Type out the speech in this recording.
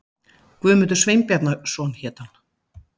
Guðmundur Sveinbjarnarson hét hann.